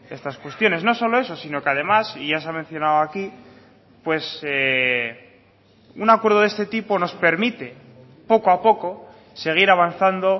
estas cuestiones no solo eso sino que además y ya se ha mencionado aquí pues un acuerdo de este tipo nos permite poco a poco seguir avanzando